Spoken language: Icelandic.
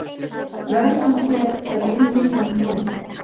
Verðlaunaféð er ein milljón króna